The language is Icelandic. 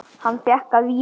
Hann fékk að vísu